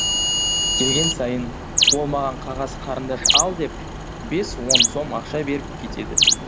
келген сайын ол маған қағаз қарындаш ал деп бес он сом ақша беріп кетеді